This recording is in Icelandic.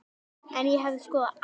En ég hefði skoðað allt.